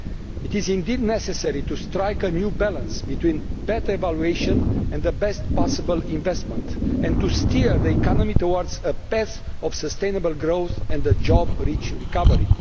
It is indeed necessary to strike a new balance between better evaluation and the best possible investment, and to steer the economy towards a path of sustainable growth and a job rich recovery.